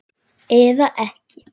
Eða ekki?